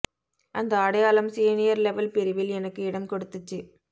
அந்த அடையாளம் senior level பிரிவில் எனக்கு இடம் கொடுத்துச்சு